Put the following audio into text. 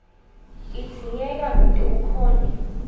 idzingeka kute ukhone